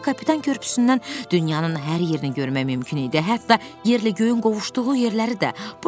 çünki Kapitan Körpüsündən dünyanın hər yerini görmək mümkün idi, hətta yerlə göyün qovuşduğu yerləri də.